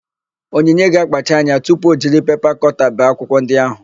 Onyinye ga-akpacha anya tupu o jiri pepa kọta bee akwụkwọ ndị áhụ̀.